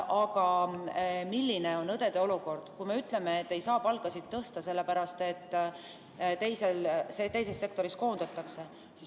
Aga milline on õdede olukord, kui me ütleme, et ei saa palkasid tõsta, sellepärast et teises sektoris koondatakse.